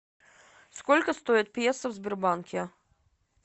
сколько стоит песо в сбербанке